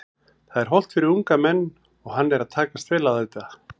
Það er hollt fyrir unga menn og hann er að takast vel á þetta.